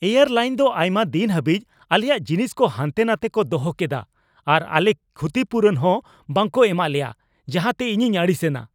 Air ᱞᱟᱹᱭᱤᱱ ᱫᱚ ᱟᱭᱢᱟ ᱫᱤᱱ ᱦᱟᱹᱵᱤᱡᱽ ᱟᱞᱮᱭᱟᱜ ᱡᱤᱱᱤᱥ ᱠᱚ ᱦᱟᱱᱛᱮ ᱱᱟᱛᱮ ᱠᱚ ᱫᱚᱦᱚ ᱠᱮᱫᱟ ᱟᱨ ᱟᱞᱮ ᱠᱷᱩᱛᱤᱯᱩᱨᱩᱱ ᱦᱚᱸ ᱵᱟᱠᱚ ᱮᱢᱟᱜ ᱞᱮᱭᱟ, ᱡᱟᱦᱟᱸᱛᱮ ᱤᱧᱤᱧ ᱟᱹᱲᱤᱥ ᱮᱱᱟ ᱾